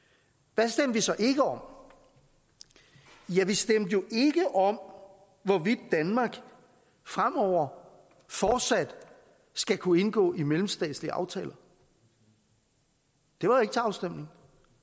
hvad stemte vi så ikke om ja vi stemte jo ikke om hvorvidt danmark fremover fortsat skal kunne indgå i mellemstatslige aftaler det var ikke til afstemning